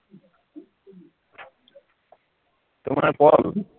তোমাৰ call